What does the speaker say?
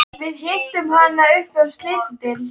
Við hittum hana uppi á Slysadeild.